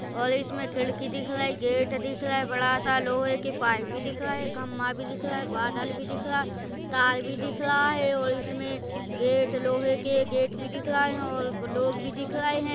और इसमे खिड़की दिख रही है गेट दिखा रहा है बड़ा स लोहे की पाइप भी दिख रहा है खंभा भी दिख रहा है बादल भी दिख रहा है तार भी दिख रहा है और इसमे गेट लोहे के गेट भी दिख रहा है और लोग भी दिख रहे हैं।